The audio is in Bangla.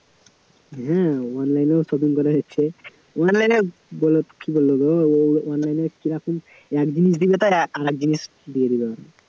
হ্যাঁ online এও shopping করা যাচ্ছে online এ বলো কী বলব গো online এ কীরকম এক জিনিস দিলে তার আরেক জিনিস দিয়ে দিল